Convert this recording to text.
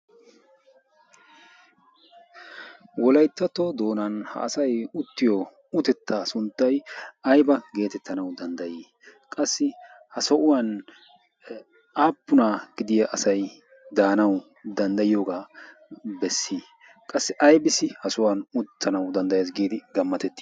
wolayttato doonan ha asay uttiyo utettaa sunttay ayba geetettii? qassi aybissi ha sohuwan uttanawu danddayee s giidi gammatetii?